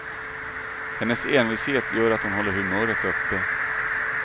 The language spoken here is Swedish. Hennes envishet gör att hon håller humöret uppe.